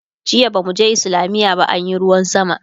jiya bamu je islamiya ba anyi ruwan sama